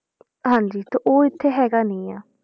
ਹਾਂਜੀ ਤੇ ਉਹ ਇੱਥੇ ਹੈਗਾ ਨੀ ਆਂ,